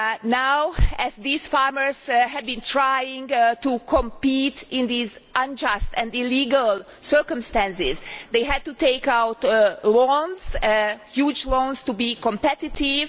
Now, as these farmers have been trying to compete in these unjust and illegal circumstances, they had to take loans huge loans to be competitive.